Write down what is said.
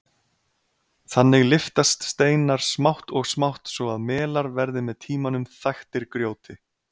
Þannig lyftast steinar smátt og smátt svo að melar verða með tímanum þaktir grjóti.